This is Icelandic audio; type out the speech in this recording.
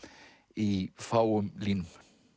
í fáum línum